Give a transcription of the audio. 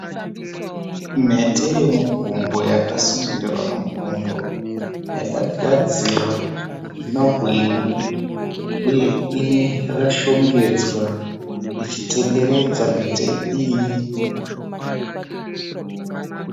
Mhete yemugumbo yakasungirirwa mugumbo yakagadzirwa inobwinya uye yakashongedzwa ichitenderedza mhete iyi.